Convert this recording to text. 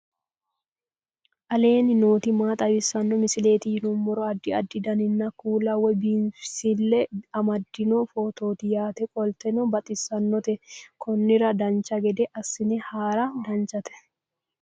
aleenni nooti maa xawisanno misileeti yinummoro addi addi dananna kuula woy biinsille amaddino footooti yaate qoltenno baxissannote konnira dancha gede assine haara danchate